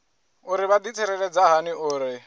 uri vha ḓitsireledza hani uri